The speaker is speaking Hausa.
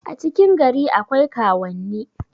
a cikin gari akwai kaauwanni